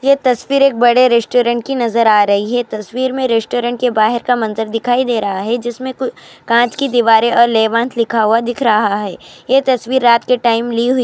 یہ تصویر ایک بدی ریسٹورنٹ کی نظر آ رہی هی یہ تصویر می ریسٹورنٹ کے بھر کا مزار نظر آ رہا هی جسمے کانچ کدیوارے اور لیونٹ لکھا ھوا نظر آ رہا ہی یہ تصویر رات کے ٹائم لی گئی ہے.